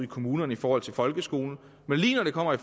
kommunerne i forhold til folkeskolen men lige når det kommer